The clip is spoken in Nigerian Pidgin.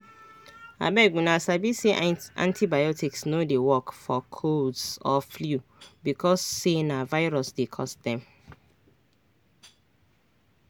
abeguna sabi say antibiotics no dey work for colds or flu because say na virus dey cause dem